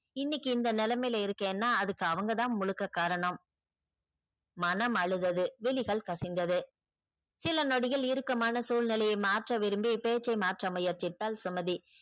இன்னிக்கு இந்த நிலமைல இருக்கேன்னா அதுக்கு அவங்க தான் முழுக்க காரணம் மனம் அழுதது விழிகள் கசிந்தது சில நொடிகள் இறுக்கமான சூழ்நிலையை மாற்ற விரும்பி பேச்சை மாற்ற முயற்சித்தாள் சுமதி